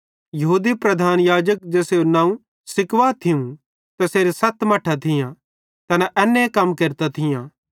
यहूदी प्रधान याजक ज़ेसेरू नवं स्क्किवा थियूं तैसेरां सत मट्ठां थियां तैना एन्ने कम्मां केरतां थियां